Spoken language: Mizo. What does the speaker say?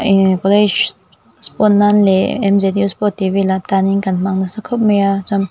ehh college sport nan leh mzu sport tih vel atanin kan hmang nasa khawp mai a chuan--